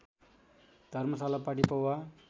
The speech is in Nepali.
धर्मशाला पाटी पौवा